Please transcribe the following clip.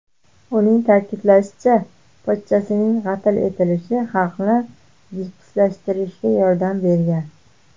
Uning ta’kidlashicha, pochchasining qatl etilishi xalqni jipslashtirishga yordam bergan.